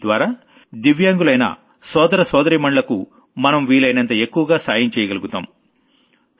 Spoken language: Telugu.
దీని ద్వారా వికలాంగులైన సోదర సోదరీమణులకు మనం వీలైనంత ఎక్కువగా సాయం చెయ్యగలుగుతాం